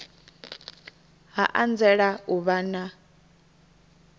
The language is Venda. ha anzela u vha na